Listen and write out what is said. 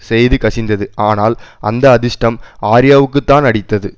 செய்தி கசிந்தது ஆனால் அந்த அதிர்ஷ்டம் ஆர்யாவுக்குதான் அடித்தது